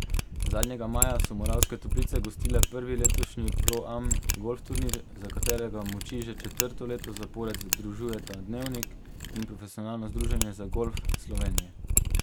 Zadnjega maja so Moravske Toplice gostile prvi letošnji Pro Am golf turnir, za katerega moči že četrto leto zapored združujeta Dnevnik in Profesionalno združenje za golf Slovenije.